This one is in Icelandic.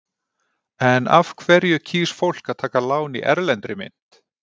En af hverju kýs fólk að taka lán í erlendri mynt?